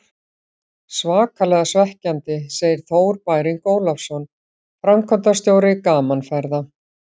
Svakalega svekkjandi, segir Þór Bæring Ólafsson, framkvæmdastjóri Gaman Ferða.